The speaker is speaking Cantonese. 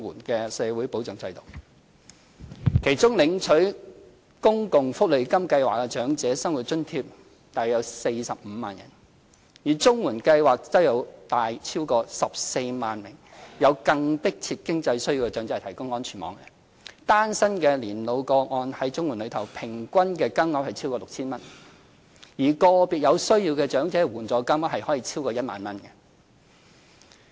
其中，約有45萬人在公共福利金計劃下領取長者生活津貼；而綜援計劃則為逾14萬名有更迫切經濟需要的長者提供安全網，單身年老個案在綜援計劃中，平均金額超過 6,000 元，而個別有需要長者的援助金額可超過1萬元。